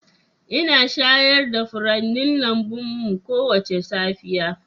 Ina shayar da furannin lambun mu kowace safiya.